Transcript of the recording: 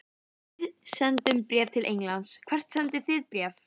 Við sendum bréf til Englands. Hvert sendið þið bréf?